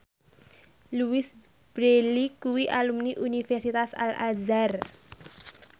Louise Brealey kuwi alumni Universitas Al Azhar